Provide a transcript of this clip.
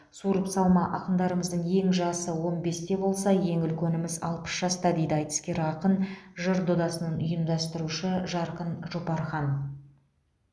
суырып салма ақындарымыздың ең жасы он бесте болса ең үлкеніміз алпыс жаста дейді айтыскер ақын жыр додасын ұйымдастырушы жарқын жұпархан